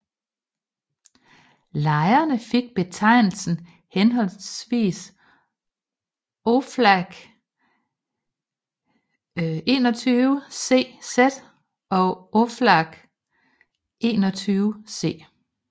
Lejrene fik betegnelsen henholdsvis Oflag XXI C z og Oflag XXI C